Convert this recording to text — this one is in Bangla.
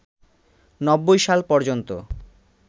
৯০ সাল পর্যন্ত